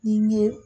Ni n ye